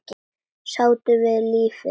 Sáttur við lífið.